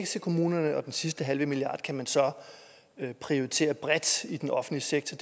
til kommunerne og den sidste halve milliard kan man så prioritere bredt i den offentlige sektor